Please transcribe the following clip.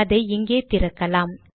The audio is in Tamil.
அதை இங்கே திறக்கலாம்